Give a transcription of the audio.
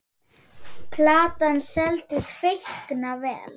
Platan seldist feikna vel.